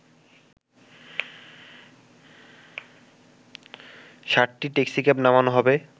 ৬০টি ট্যাক্সিক্যাব নামানো হবে